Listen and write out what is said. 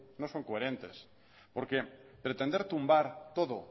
no son coherentes porque pretender tumbar todo